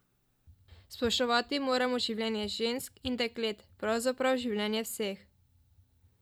Spoštovati moramo življenje žensk in deklet, pravzaprav življenje vseh.